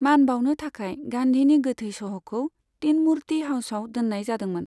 मान बाउनो थाखाय गान्धीनि गोथै सह'खौ तीन मूर्ति हाउसआव दोन्नाय जादोंमोन।